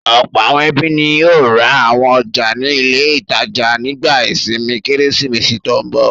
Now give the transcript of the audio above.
Ọ̀pọ̀ àwọn ẹbí ni yóò ra àwọn ọjà ní ilé-ìtajà nígbà ìsinmi Kérésìmesì tó ń bọ̀.